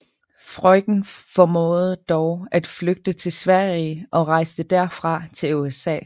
Freuchen formåede dog at flygte til Sverige og rejste derfra til USA